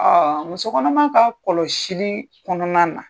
muso kɔnɔma ka kɔlɔsili kɔnɔna na.